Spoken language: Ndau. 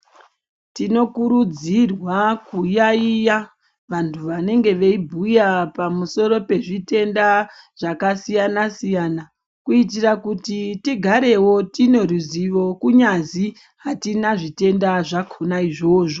Tinokurudzirwa kuyayiya vandu vanenge veibhuya pamusoro pezvitenda zvakasiyana -siyana kuitira kuti tigarewo tineruzivo kunyazi hatina zvitenda zvakhona izvozvo.